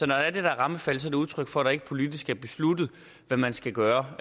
der er det der rammefald er det et udtryk for at der ikke politisk er besluttet hvad man skal gøre